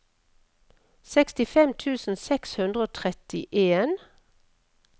sekstifem tusen seks hundre og trettien